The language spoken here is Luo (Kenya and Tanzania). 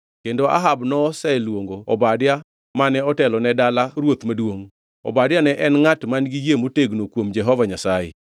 kendo Ahab noseluongo Obadia mane otelo ne dala ruoth maduongʼ. Obadia ne en ngʼat man-gi yie motegno kuom Jehova Nyasaye.